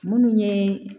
Munnu ye